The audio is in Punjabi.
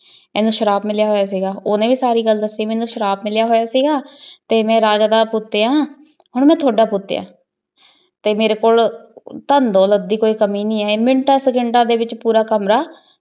ਏਨੁ ਸ਼ਰਾਪ ਮਿਲਯਾ ਹੋਯਾ ਸੀਗਾ ਓਹਨੇ ਵੀ ਸਾਰੀ ਗਲ ਦਾਸੀ ਮੇਨੂ ਸ਼ਰਾਪ ਮਿਲਯਾ ਹੋਯਾ ਸੀਗਾ ਤੇ ਮੈਂ ਰਾਜਾ ਦਾ ਪੁਤ ਆਯ ਆਂ ਹਨ ਮੈਂ ਤੁਹਾਡਾ ਪੁਤ ਆਯ ਆਂ ਤੇ ਮੇਰੀ ਕੋਲ ਧਨ ਡੋਲਤ ਦੀ ਕੋਈ ਕਮੀ ਨਹੀ ਹੈ ਮਿਨਟਾਂ ਸੇਕਿੰਤਾਂ ਡੀ ਵਿਚ ਪੋਰ ਕਮਰਾ